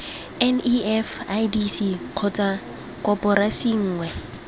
nef idc kgotsa koporasi nngwe